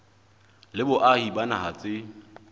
le boahi ba naha tse